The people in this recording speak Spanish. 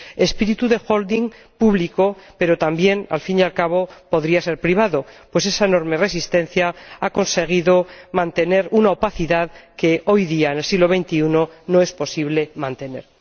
espíritu de holding público, pero también, al fin y al cabo, podría ser privado, pues esa enorme resistencia ha conseguido mantener una opacidad que hoy día, en el siglo XXI, no es posible aceptar.